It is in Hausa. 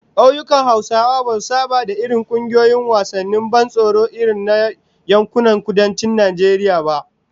Kauyukan Hausawa basu saba da irin kungiyoyin wasannin ban tsoro irin na yankunan Kudancin Najeriya ba